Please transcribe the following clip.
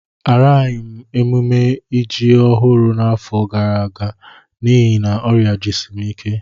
Agaraghị m emume ji ọhụrụ n'afọ gara aga n'ihi na ọrịa jisi m ike